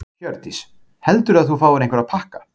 Hjördís: Heldurðu að þú fáir einhverja pakka?